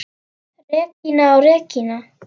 Regína og Regína.